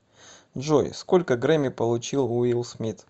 джой сколько грэмми получил уилл смит